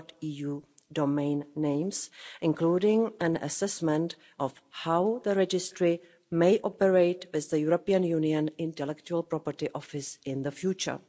.eu domain names, including an assessment of how the registry may operate as the European Union Intellectual Property Office in the future.